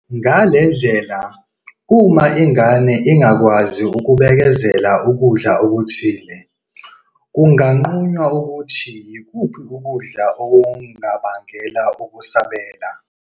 Ngale ndlela, uma ingane ingakwazi ukubekezelela ukudla okuthile, kunganqunywa ukuthi yikuphi ukudla okubangela ukusabela.